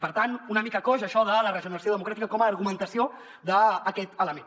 per tant una mica coix això de la regeneració democràtica com a argumentació d’aquest element